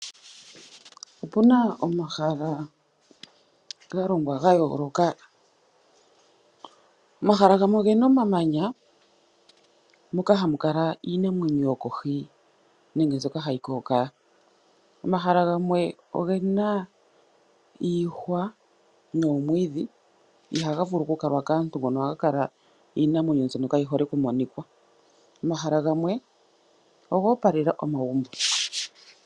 Opuna omahala ga longwa ga yooloka, omahala gamwe ogena omamanya moka hamu kala iinamwenyo yokohi nenge mbyoka hayi kookaya, omahala gamwe oge na iihwa noomwiidhi 8haga vulu okukalwa kaantu, ohaga kala iinamwenyo mbyoka kaayi hole okumonika. Omahala gamwe oga opalela omagumbo.